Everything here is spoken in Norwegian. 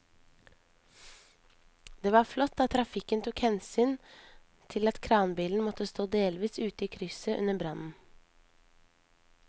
Det var flott at trafikken tok hensyn til at kranbilen måtte stå delvis ute i krysset under brannen.